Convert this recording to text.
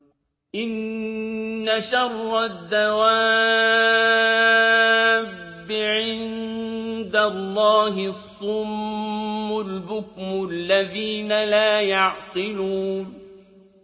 ۞ إِنَّ شَرَّ الدَّوَابِّ عِندَ اللَّهِ الصُّمُّ الْبُكْمُ الَّذِينَ لَا يَعْقِلُونَ